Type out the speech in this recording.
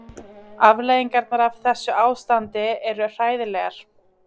Afleiðingarnar af þessu ástandi eru hræðilegar.